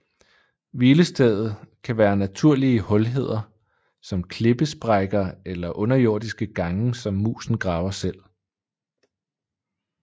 Hvilestedet kan være naturlige hulheder som klippesprækker eller underjordiske gange som musen graver selv